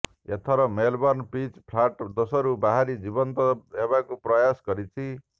ଏଥରର Melbourne pitch flat ଦୋଷରୁ ବାହାରି ଜୀବନ୍ତ ଦେବାକୁ ପ୍ରୟାସ କରିଛି